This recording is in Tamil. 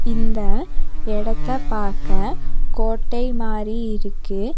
இந்த எடத்த பாக்க கோட்டை மாரி இருக்கு.